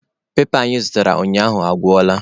Pepa anyị zụtara ụnyaahụ agwụla.